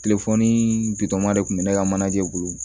bitɔnma de tun bɛ ne ka manajɛ bolo